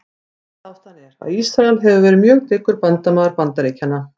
Fimmta ástæðan er, að Ísrael hefur verið mjög dyggur bandamaður Bandaríkjanna.